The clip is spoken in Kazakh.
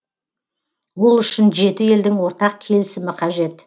ол үшін жеті елдің ортақ келісімі қажет